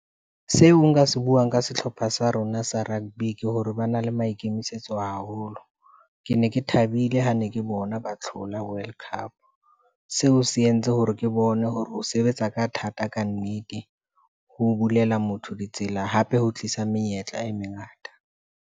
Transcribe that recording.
Seo nka se buang ka sehlopha sa rona sa rugby ke hore ba na le maikemisetso haholo. Ke ne ke thabile ha ne ke bona ba hlola world cup. Seo se entse hore ke bone hore ho sebetsa ka thata kannete, ho bulela motho ditsela hape ho tlisa menyetla e mengata.